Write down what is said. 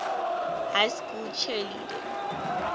high school cheerleading